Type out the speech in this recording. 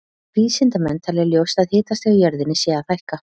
Vísindamenn telja ljóst að hitastig á jörðinni sé að hækka.